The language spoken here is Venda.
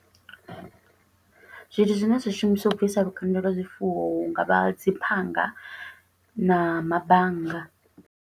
Zwithu zwine zwa shumiswa u bvisa lukanda lwa zwifuwo, hu nga vha dzi phanga, na mabannga.